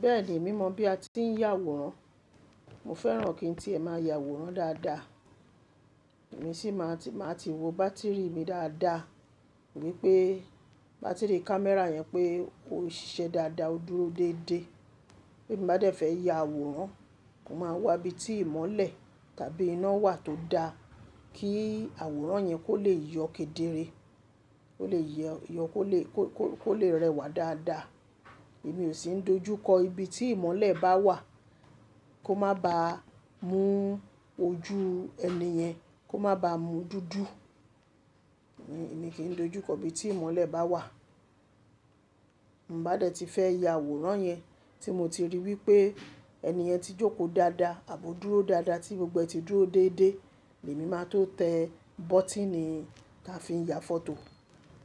Bẹ́ẹ̀ni, èmi mọ̀ bí a ti ń ya àwòrán. Mo fẹ́ràn kín tí ẹ máa ya àwòrán dáadáa, èmi sì máa ti wo bátìrì mi dáadáa wípé bátìrì kámẹ́rà yẹn pé ó ń ṣiṣẹ́ dáadáa, ó dúró déédéé. Bí'm bá dẹ̀ fẹ́ ya àwòrán, mo máa wá ibi tí ìmọ́lẹ̀ tàbí iná wà tó da kí àwòrán yẹn kó lè yọ kedere, kó lè yọ kó lè rẹwà dáadáa. Èmi ò sì ń dojú kọ ibi tí ìmọ́lẹ̀ bá wà kó má ba mú ojú ẹni yẹn, kó má ba mú dúdú. Èmi kì í dojú kọ ibi tí ìmọ́lẹ̀ bá wà. Mo bá dẹ̀ ti fẹ́ ya àwòrán yẹn tí mo ti ríi wípé ẹni yẹn ti jókòó dáadáa, àbò dúró dáadáa tí gbogbo ẹ́ ti dúró déédéé ni èmi máa tó tẹ bọ́tínì tí a fi ń ya fọ́tò.